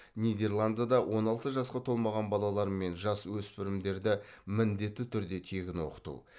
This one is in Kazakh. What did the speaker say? нидерландыда он алты жасқа толмаған балалар мен жасөспірімдерді міндетті түрде тегін оқыту